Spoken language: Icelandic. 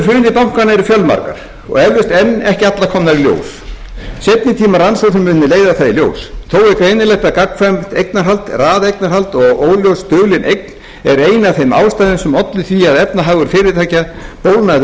hruni bankanna eru fjölmargar og eflaust enn ekki allar komnar í ljós seinni tíma rannsóknir munu leiða það í ljós þó er greinilegt að gagnkvæmt eignarhald raðeignarhald og óljós dulin eign er ein af þeim ástæðum sem olli því að efnahagur fyrirtækja bólgnaði